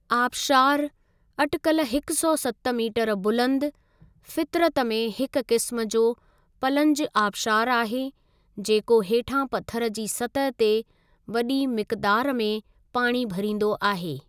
आबशारु, अटिकल हिकु सौ सत मीटरु बुलंद, फ़ितरत में हिक क़िस्मु जो 'पलंज आबशारु आहे, जेको हेठां पथरु जी सतह ते वॾी मिक़दारु में पाणी भरींदो आहे।